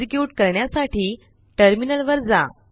execute करण्यासाठी टर्मिनलवर जा